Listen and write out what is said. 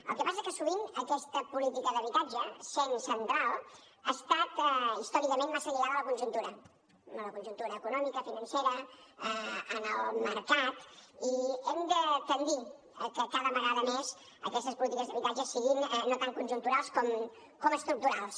el que passa és que sovint aquesta política d’habitatge essent central ha estat històricament massa lligada a la conjuntura a la conjuntura econòmica financera al mercat i hem de tendir que cada vegada més aquestes polítiques d’habitatge siguin no tant conjunturals com estructurals